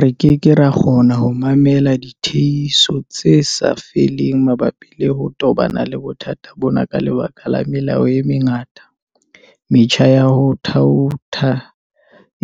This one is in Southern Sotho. Re keke ra kgona ho mamella ditiehiso tse sa feleng mabapi le ho tobana le bothata bona ka lebaka la melao e mengata, metjha ya ho thaotha